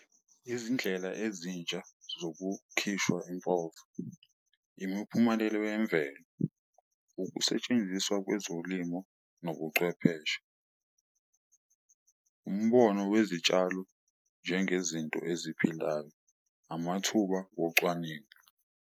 Izindlela ezintsha zokukhishwa impova. Imiphumelelo yemvelo, ukusetshenziswa kwezolimo nobuchwepheshe. Umbono wezitshalo, njengezinto eziphilayo, amathuba wocwaningo,